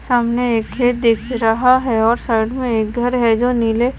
सामने एक खेत दिख रहा है और साइड में एक घर है जो नीले--